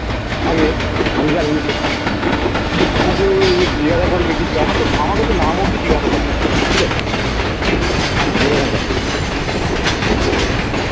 আগে আমি যা ঋণ কিন্তু তোমাকে এই যে জিজ্ঞাসা করবে কিছু আমার তো আমাকে তো নাম অবধি জিজ্ঞাসা করেনি ঠিক আছে এরকম ব্যাপার তো